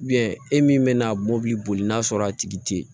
e min bɛna'a mɔbili boli n'a sɔrɔ a tigi te ye